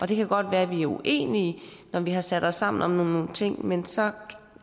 det kan godt være at vi er uenige når vi har sat os sammen om nogle ting men så